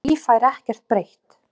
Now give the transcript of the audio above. Því fær ekkert breytt.